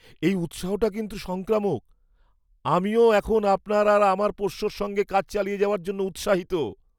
এই উৎসাহটা কিন্তু সংক্রামক! আমিও এখন আপনার আর আপনার পোষ্যের সঙ্গে কাজ চালিয়ে যাওয়ার জন্য উৎসাহিত।